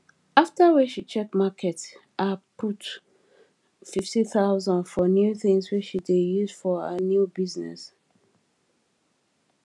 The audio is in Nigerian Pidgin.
after wey she check market her put 50000 for new things wey she dey use for her new business